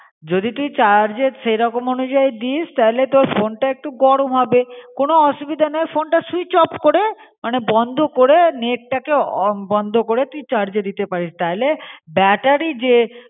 যদি তুই চার্জ এ সেরকম উনোযাই দিস তাহলে তোর ফোনটা একটু গরম হবে. কোন ওসোবিদে নেই ফোনটা সুইচ অফ করে, মনে বন্ড করে নেট টা কে অ বন্ড করে তুই চার্জজে দিতে প্যারিস. টাইলে ব্যাটারী জে